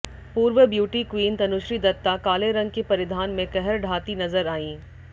पूर्व beauty queen Tanushree Dutta काले रंग के परिधान में कहर ढाती नजर आईं